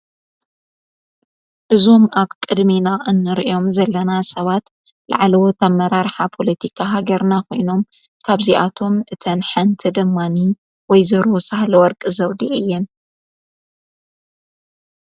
እዞም ኣብ ቅድሚና እንርእዮም ዘለና ሰባት ለዕለዎትኣብ መራርኃ ጶሎቲካ ሃገርናኾይኖም ካብዚኣቶም እተን ሓንቲ ደማኒ ወይዘሮሳህለወርቂ ዘውዲር እየን